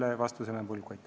Selle vastuse jään võlgu.